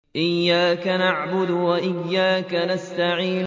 إِيَّاكَ نَعْبُدُ وَإِيَّاكَ نَسْتَعِينُ